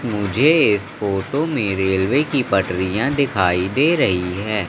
मुझे इस फोटो में रेलवे की पटरिया दिखाई दे रही है।